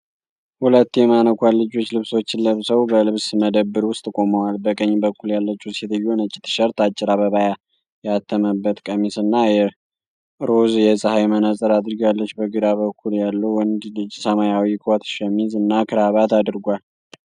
ሁለት የማነኳን ልጆች ልብሶችን ለብሰው በልብስ መደብር ውስጥ ቆመዋል። በቀኝ በኩል ያለችው ሴትየዋ ነጭ ቲሸርት፣ አጭር አበባ ያተመበት ቀሚስ እና ሮዝ የፀሐይ መነፅር አድርጋለች። በግራ በኩል ያለው ወንድ ልጅ ሰማያዊ ኮት፣ ሸሚዝ እና ክራባት አድርጓል።